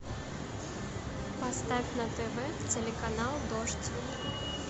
поставь на тв телеканал дождь